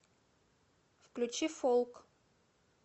включи фолк